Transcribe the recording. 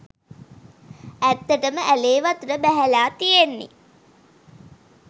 ඇත්තටම ඇලේ වතුර බැහැල තියෙන්නෙ